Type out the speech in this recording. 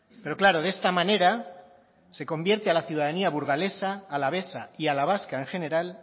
pero claro de esta manera se convierte a la ciudadanía burgalesa alavesa y a la vasca en general